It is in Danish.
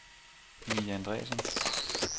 Mie Andreasen